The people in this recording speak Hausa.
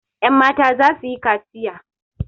Yanmata za su yi kaciya.